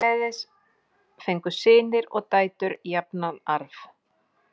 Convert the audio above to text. Eftirleiðis fengu synir og dætur jafnan arf.